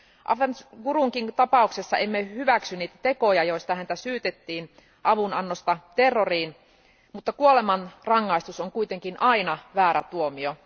Afzal Gurun tapauksessa emme hyväksy niitä tekoja, joista häntä syytettiin eli avunannosta terroriin, mutta kuolemanrangaistus on kuitenkin aina väärä tuomio.